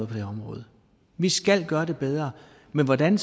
her område vi skal gøre det bedre men hvordan